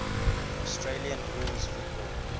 australian rules football